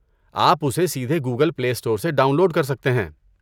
آپ اسے سیدھے گوگل پلے اسٹور سے ڈاؤن لوڈ کر سکتے ہیں۔